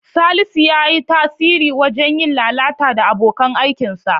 Salisu ya yi tasiri wajen yin lalata da abokan aikinsa.